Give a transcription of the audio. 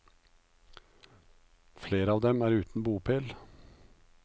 Flere av dem er uten bopel.